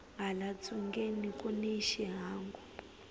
hala ntsungeni kuni xihangu